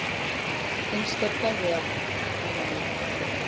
HINSTA KVEÐJA Amma mín.